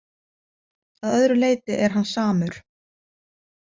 Að öðru leyti er hann samur.